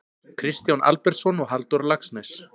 Kristján Albertsson og Halldór Laxness